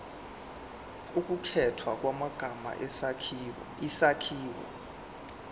ukukhethwa kwamagama isakhiwo